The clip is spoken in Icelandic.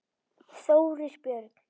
Þórir Björn.